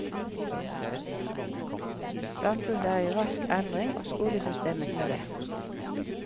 Samfunnet er i rask endring, og skolesystemet med det.